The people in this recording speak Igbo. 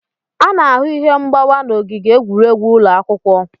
A na-ahụ ihe mgbawa n'ogige egwuregwu ụlọ akwụkwọ.